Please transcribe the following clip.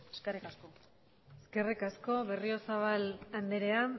eskerrik asko eskerrik asko berriozabal andrea